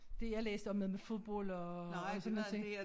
Det jeg læste om noget med fodbold og sådan nogen ting